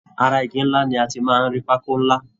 Ará ìgi nlá là tí máa n rí pákó nlá.